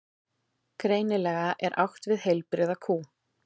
Greinilega er átt við heilbrigða kú.